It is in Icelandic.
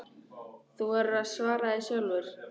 Þú verður að svara því sjálfur.